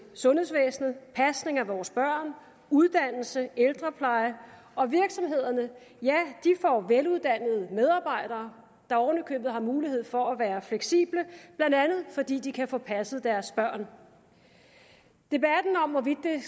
sundhedsvæsenet pasning af vores børn uddannelse ældrepleje og virksomhederne ja de får veluddannede medarbejdere der oven i købet har mulighed for at være fleksible blandt andet fordi de kan få passet deres børn debatten om hvorvidt det